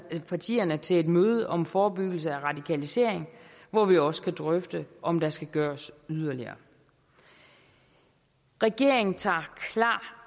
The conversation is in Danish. partierne til et møde om forebyggelse af radikalisering hvor vi også kan drøfte om der skal gøres yderligere regeringen tager klart